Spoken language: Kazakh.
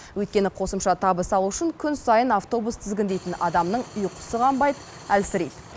өйткені қосымша табыс алу үшін күн сайын автобус тізгіндейтін адамның ұйқысы қанбайды әлсірейді